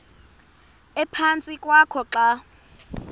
ephantsi kwakho xa